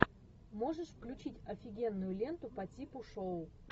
можешь включить офигенную ленту по типу шоу